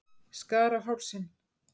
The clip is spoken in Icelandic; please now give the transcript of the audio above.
Skar á hálsinn.